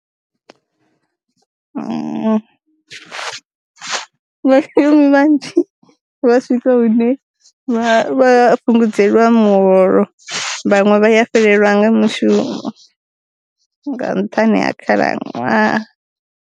Vha shumi vhanzhi vha swika hune vha vha fhungudzelwa muholo vhaṅwe vha ya fhelelwa nga mushumo nga nṱhani ha khalaṅwaha.